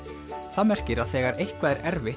það merkir að þegar eitthvað er erfitt